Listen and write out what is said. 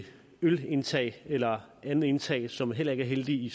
ølindtag eller andet indtag som heller ikke er heldigt i